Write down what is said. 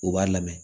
U b'a lamɛn